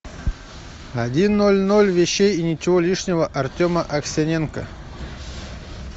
один ноль ноль вещей и ничего лишнего артема аксененко